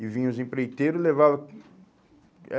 E vinham os empreiteiros e levava. Eh